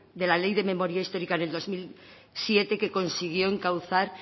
de la ley de memoria histórica del dos mil siete que consiguió encauzar